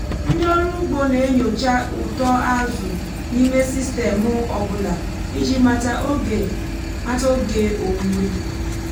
ndị ọrụ ugbo na-enyocha uto azụ n'ime sistemụ ọ bụla iji mata oge mata oge owuwe.